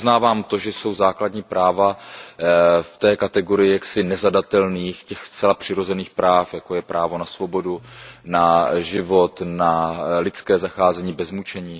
Já uznávám to, že jsou základní práva v té kategorii jaksi nezadatelných, těch zcela přirozených práv, jako je právo na svobodu, na život, na lidské zacházení bez mučení.